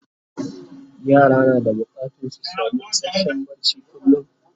yara na da bukatan su samu isasshen barci kullum